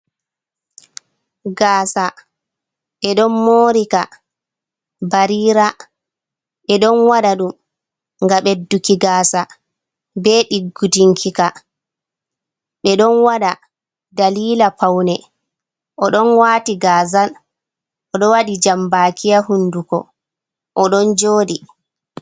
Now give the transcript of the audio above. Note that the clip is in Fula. Gaasa ɓe ɗon morika barira ɓeɗo waɗa ɗum ngam ɓedduki gaasa be diggutinkika ɓeɗon waɗa dalila paune oɗon waati gaazal oɗo waɗi jambaki ha hunduko oɗon jooɗi.